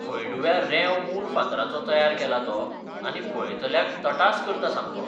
हळडुव्या रेंव मूर फातराचो तयार केला तो आनी पळयतल्याक तटास करता सामको.